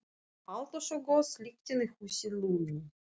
Alltaf svo góð lyktin í húsi Lúnu.